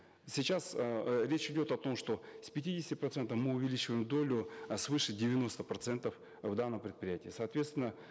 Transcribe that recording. сейчас эээ речь идет о том что с пятидесяти процентов мы увеличиваем долю э свыше девяноста процентов в данном предприятии соответственно